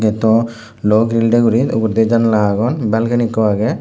eyot dw luo giril dey guri uguridi janala agon balcony ekko agey.